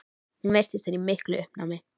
Hún virtist vera í miklu uppnámi.